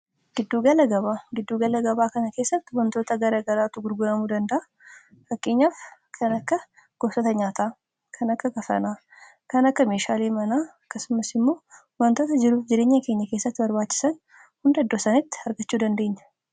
giddu gala gabaa kana keessatti wantoota gara garaatu gurguramuu danda'a. fakkeenyaaf kan akka goosoota nyaataa, kan akka kafanaa ,kan akka meeshaalee manaa akkasumas immoo wantoota jiruuf jireenya keenya keessatti barbaachisan hunda iddoo sanitti argachuu dandeenya.